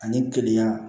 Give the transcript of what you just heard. Ani keleya